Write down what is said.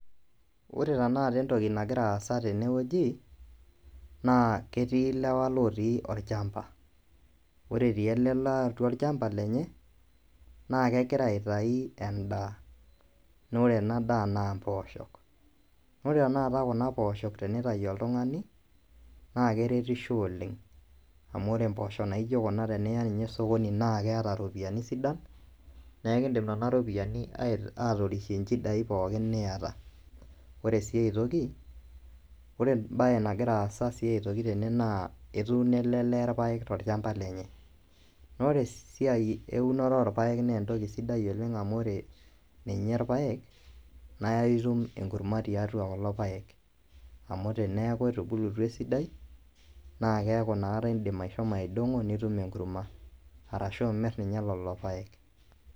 Ore tenakata entoki nagira aasa naa ketii ilewa lootii olchamba ore etii ele lee atua olchamba lenye naa kegira aitayu endaa naa ore ena daa naa impoosho ore tenakata kuna pooshok teneitau oltung'ani naa keretisho oleng naa ore tenakata kuna poosho teniya sokini naa ekindim aatorishie inchidai pookin niyata ore sii ai toki ore enkae baye nagira aasa tene naa etuunoo ele lee irpaek tolchamba lenye naa ore siininye irpaek naa itum eenkurma tiatua kulo paek aku teneeku etubulutua esidai naa indiim ashomo aidong'o ashuu imir leleo paek.